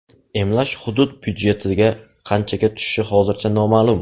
Emlash hudud budjetiga qanchaga tushishi hozircha noma’lum.